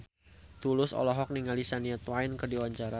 Tulus olohok ningali Shania Twain keur diwawancara